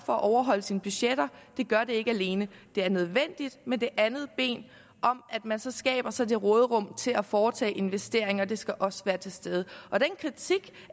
for at overholde sine budgetter gør det ikke alene det er nødvendigt med det andet ben om at man så skaber sig det råderum til at foretage investeringer det skal også være til stede og den kritik